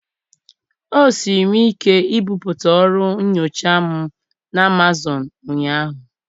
O siiri m ike ibipụta ọrụ nyocha m na Amazọnụ ụnyaahụ.